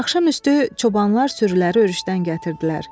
Axşam üstü çobanlar sürüləri örüşdən gətirdilər.